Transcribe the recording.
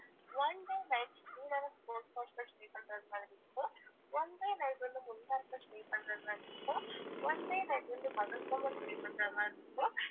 one day night Srinagar boat house ல stay பண்றது மாதிரி இருக்கும் one day night வந்து குல்மார்க்ல stay பண்றது மாதிரி இருக்கும் one day night பகல்காம்ல stay பண்றது மாதிரி இருக்கும்